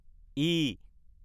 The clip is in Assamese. ই